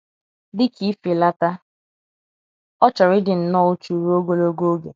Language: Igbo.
Dị ka ifelata, ọ chọrọ ịdị nnọọ uchu ruo ogologo oge.